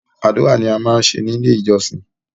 Àdúrà ni a máa ń ṣe ni ilé ìjọsìn.